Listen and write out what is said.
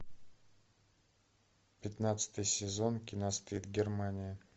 пятнадцатый сезон кино стыд германия